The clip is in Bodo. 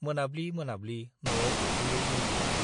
मोनाब्लि मोनाब्लि न'आव हाबफैयो नीलाम्बरा।